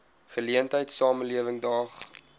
geleentheid samelewing daag